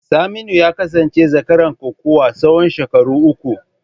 Saminu ya kasance zakaran kokawa tsawon shekaru uku.